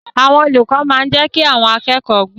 Àwọn olùkọ́ máa ń jẹ́ kí àwọn akẹ́kọ̀ọ́ gbọ́n.